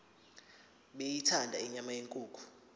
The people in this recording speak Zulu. beyithanda inyama yenkukhu